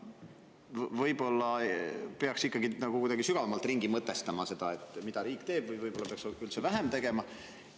Võib‑olla peaks ikkagi kuidagi sügavamalt mõtestama seda, mida riik teeb, või peaks üldse vähem tegema.